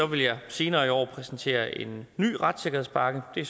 vil jeg senere i år præsentere en ny retssikkerhedspakke det